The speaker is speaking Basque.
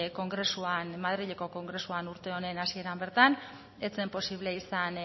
madrileko kongresuan urte honen hasieran bertan ez zen posible izan